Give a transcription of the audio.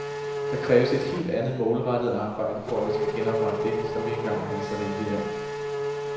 Der kræves et helt andet målrettet arbejde, for at vi skal genoprette det, som vi engang havde så rigeligt af.